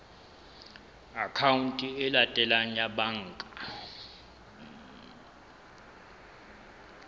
akhaonteng e latelang ya banka